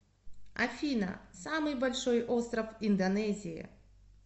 афина самый большой остров индонезии